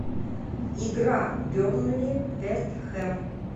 игра бернли вест хэм